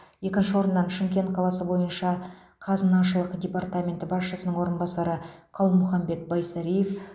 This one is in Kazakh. екінші орыннан шымкент қаласы бойынша қазынашылық департаменті басшысының орынбасары қалмұханбет байсариев